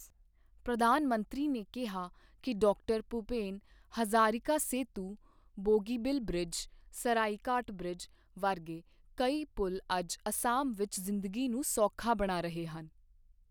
ਪ੍ਰਧਾਨ ਮੰਤਰੀ ਨੇ ਕਿਹਾ ਕਿ ਡਾ. ਭੁਪੇਨ ਹਜ਼ਾਰਿਕਾ ਸੇਤੂ, ਬੋਗੀਬੀਲ ਬ੍ਰਿਜ, ਸਰਾਇਘਾਟ ਬ੍ਰਿਜ ਵਰਗੇ ਕਈ ਪੁਲ਼ ਅੱਜ ਅਸਾਮ ਵਿੱਚ ਜ਼ਿੰਦਗੀ ਨੂੰ ਸੌਖਾ ਬਣਾ ਰਹੇ ਹਨ।